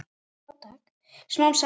Smám saman.